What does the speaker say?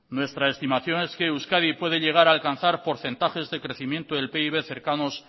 nuestra estimación es que euskadi puede llegar a alcanzar porcentajes de crecimiento del pib cercanos